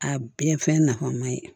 A bɛɛ fɛn nafama ye